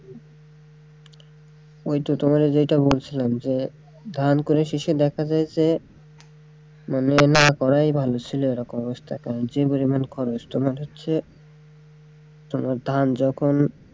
ওইতো তোমাদের যেইটা বলছিলাম যে ধান করে শেষে দেখা যায় যে মানে না করাই ভালো ছিল এরকম অবস্থা যে পরিমান খরচ তোমার হচ্ছে তোমার ধান যখন,